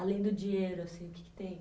Além do dinheiro assim, o que que tem?